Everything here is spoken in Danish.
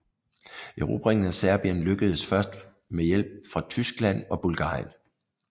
Erobringen af Serbien lykkedes først med hjælp fra Tyskland og Bulgarien